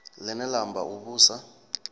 line la amba u vhusa